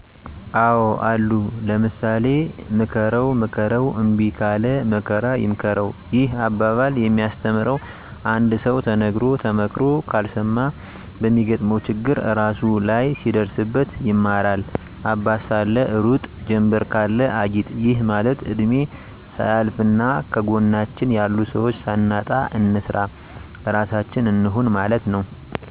አዎ አሉ ለምሳሌ፦ ምከረዉ ምከረዉ እምቢ ካለ መከራ ይምከረዉ ይህ አባባል የሚያስተምረዉ አንድ ሰዉ ተነግሮ ተመክሮ ካልሰማ በሚገጥመዉ ችግር እራሱ ላይ ሲደርስበት ይማራል - አባት ሳለ ሩጥ ጀምበር ካለ አጊጥ ይህ ማለት እድሜ ሳያልፋና ከጎናችን ያሉ ሰዎች ሳናጣ እንስራ ራሳችን እንሁን ማለት ነዉ